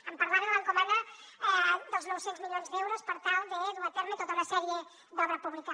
em parlava de l’encomanda dels nou cents milions d’euros per tal de dur a terme tota una sèrie d’obra pública